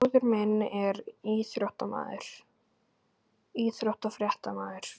Bróðir minn er íþróttafréttamaður.